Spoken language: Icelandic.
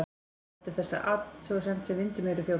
Hann lætur þessa athugasemd sem vind um eyru þjóta.